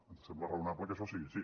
ens sembla raonable que això sigui així